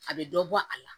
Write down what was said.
A bɛ dɔ bɔ a la